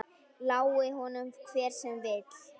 Lái honum hver sem vill.